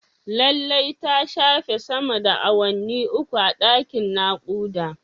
Lallai ta shafe sama da awanni uku a dakin nakuda